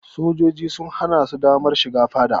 Sojojin sun hana su damar shiga fadar.